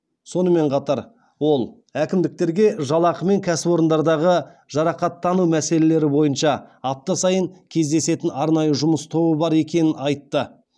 сонымен қатар ол әкімдіктерге жалақы мен кәсіпорындардағы жарақаттану мәселелері бойынша апта сайын кездесетін арнайы жұмыс тобы бар екенін айтты